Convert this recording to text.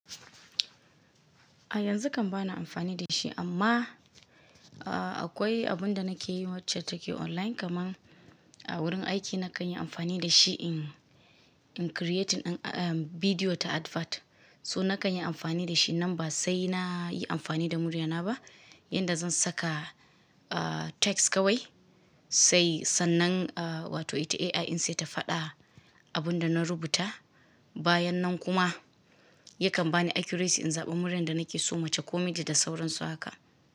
A yanzu kam ba na amfani da shi amma akwai abun da nake yi wacce take online kaman a wurin aiki na kan yi amfani da shi in creating video ta advert. So na kan yi amfani da shi. Nan ba sai na yi amfani da muryana ba, yanda zan saka text kawai sai sannan wato ita AI in sai ta faɗa abun da na rubuta. Bayan nan kuma yakan bani accuracy in zaɓi muryan da nake so mace ko miji da sauransu haka.